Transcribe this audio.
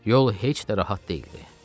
Yol heç də rahat deyildi.